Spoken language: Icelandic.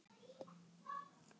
Hakkaðu í þinn hola skrokk